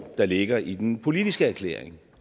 der ligger i den politiske erklæring